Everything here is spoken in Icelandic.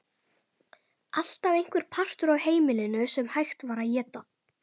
Alltaf einhver partur af heimilinu sem hægt var að éta.